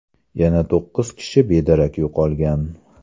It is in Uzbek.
Yana to‘qqiz kishi bedarak yo‘qolgan.